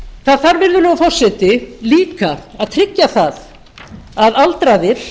það þarf virðulegur forseti líka að tryggja að aldraðir